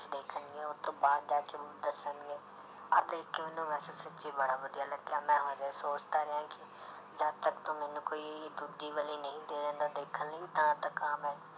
ਉਹ ਤੋਂ ਬਾਅਦ ਜਾ ਕੇ ਉਹ ਦੱਸਣਗੇ, ਆਹ ਦੇਖ ਕੇ ਮੈਨੂੰ ਵੈਸੇ ਸੱਚੀ ਬੜਾ ਵਧੀਆ ਲੱਗਿਆ ਮੈਂ ਹਜੇ ਸੋਚ ਤਾਂ ਰਿਹਾਂ ਕਿ ਜਦ ਤੱਕ ਤੂੰ ਮੈਨੂੰ ਕੋਈ ਦੂਜੀ ਵਾਲੀ ਨਹੀਂ ਦੇ ਦਿੰਦਾ ਦੇਖਣ ਲਈ ਤਦ ਤੱਕ ਆਹ ਮੈਂ